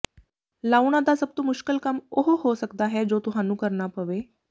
ਲਾਉਣਾ ਦਾ ਸਭ ਤੋਂ ਮੁਸ਼ਕਲ ਕੰਮ ਉਹ ਹੋ ਸਕਦਾ ਹੈ ਜੋ ਤੁਹਾਨੂੰ ਕਰਨਾ ਪਵੇ